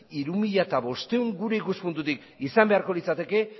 hiru mila bostehun gure ikuspuntutik izan beharko litzateke